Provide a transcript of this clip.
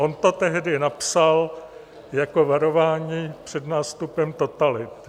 On to tehdy napsal jako varování před nástupem totality.